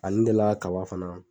Ani n delila ka kaba fana.